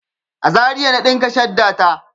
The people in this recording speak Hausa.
A Zaria na ɗinka shadda ta.